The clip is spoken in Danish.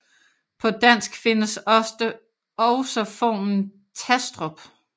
På dansk findes også formen Tastrup